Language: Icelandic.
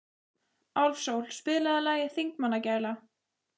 Álfsól, spilaðu lagið „Þingmannagæla“.